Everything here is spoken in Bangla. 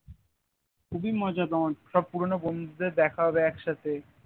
খুবই মজা পাবো সব পুরোনো বন্ধুদের দেখা হবে এক সাথে